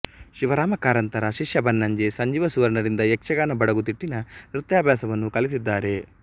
ಶಿವರಾಮ ಕಾರಂತರ ಶಿಷ್ಯಬನ್ನಂಜೆ ಸಂಜೀವ ಸುವರ್ಣರಿಂದ ಯಕ್ಷಗಾನ ಬಡಗು ತಿಟ್ಟಿನ ನೃತ್ಯಾಭ್ಯಾಸವನ್ನು ಕಲಿತಿದ್ದಾರೆ